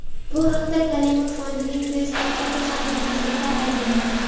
Bu haqda Karimov fondining Facebook’dagi sahifasida aytiladi .